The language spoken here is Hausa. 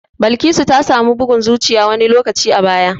Balkisu ta samu bugun zuciya wani lokaci a baya.